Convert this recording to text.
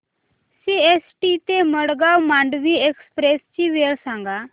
CST ते Madgaon Mandovi express ची वेळ सांगा